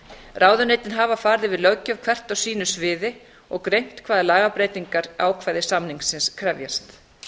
ráðuneytin hafa farið yfir löggjöf hvert á sínu sviði og greint hvaða lagabreytingar ákvæði samningsins krefjast